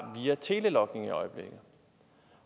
via telelogningen